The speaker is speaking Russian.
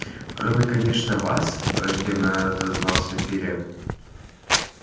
кроме конечно вас враждебно отозвался пиренн